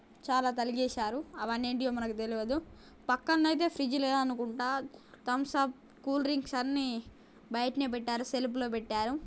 చాలా తలిగేశారు అవన్నీ ఏంటియొ మనకి తెల్వదు పక్కన అయితే ఫ్రీడ్జ్ లేదనుకుంటా థమ్సప్ అప్ కూల్ డ్రింక్స్ అన్నీ బైటనే పెట్టారు సెల్ఫ్ లో పెట్టారు.